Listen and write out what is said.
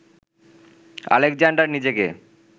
Alexander নিজেকে